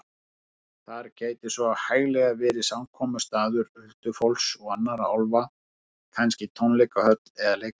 Þar gæti svo hæglega verið samkomustaður huldufólks og annarra álfa, kannski tónleikahöll eða leikhús.